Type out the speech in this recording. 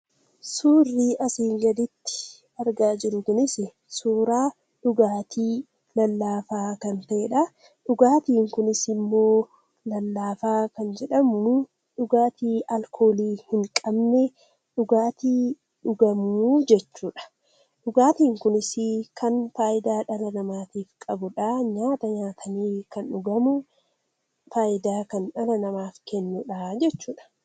Suurri asi gaditti argaa jirru kunis suuraa dhugaati lallaafaa kan ta'edha. Dhugaatin kunis immoo, lallaafa kan jedhamu dhugaatii alkoolii in qabne, dhugaatii dhugamu jechuudha. Dhugaatin kunis dhala namatiif faayida kan qabudha jechuudha.